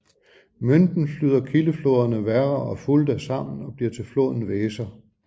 Münden flyder kildefloderne Werra og Fulda sammen og bliver til floden Weser